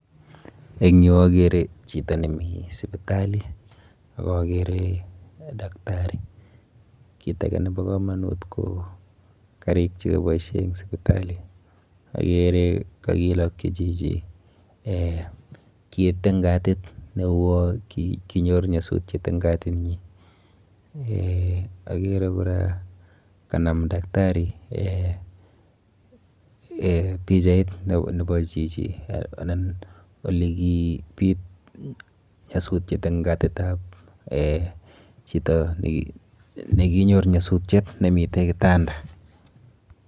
Eng yu akere chito nemi sipitali ak akere daktari. Kit ake nepo komonut ko karik chekiboishe eng sipitali. Akere kakilokchi chichi eh kit eng katit neiboru kole kinyor nyasutiet eng katinyi. Eh akere kora kanam daktari[sc] eh pichait nebo chichi anan olekipit nyasutiet eng katitap chito nekinyor nyasutiet nemite kitanda.